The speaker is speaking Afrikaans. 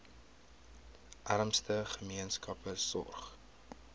armste gemeenskappe sorg